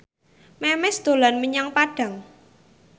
Memes dolan menyang Padang